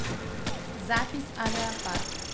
запись авиапарк